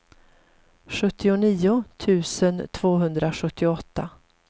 sjuttionio tusen tvåhundrasjuttioåtta